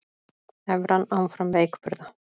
Evran áfram veikburða